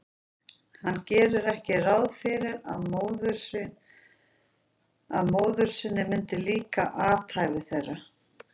Hann gerði ekki ráð fyrir að móður sinni myndi líka athæfi þeirra.